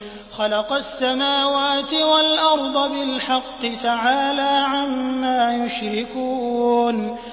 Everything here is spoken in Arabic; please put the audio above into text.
خَلَقَ السَّمَاوَاتِ وَالْأَرْضَ بِالْحَقِّ ۚ تَعَالَىٰ عَمَّا يُشْرِكُونَ